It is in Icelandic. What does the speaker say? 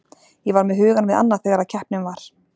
Ég var með hugann við annað þegar að keppnin var.